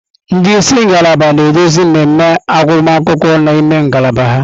Ndị isi ngalaba na-eduzi mmemme agụmakwụkwọ n'ime ngalaba ha.